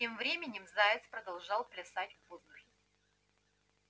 тем временем заяц продолжал плясать в воздухе